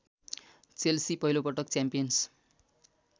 Chelsea पहिलोपटक champions